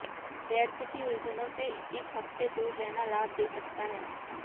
व्यर्थ की उलझनों से इस हफ्ते दूर रहना लाभ दे सकता है